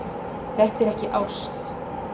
Þetta er ekki ást.